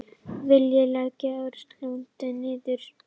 Vilja leggja öryggislögregluna niður